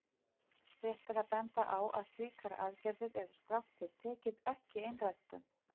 Rétt er að benda á að slíkar aðgerðir eru strangt til tekið ekki einræktun.